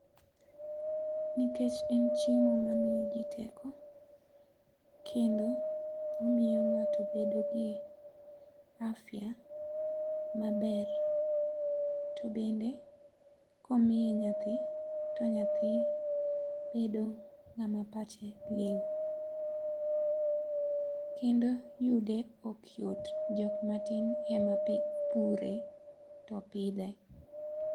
Nikech en chiemo ma miyo ji teko kendo omiyo ng'ato bedo gi afya ma ber to bende ka omiye nyathi to nyathi bedo ng'a ma pache liu kendo yude ok yot jok matin e ma pure to pidhe.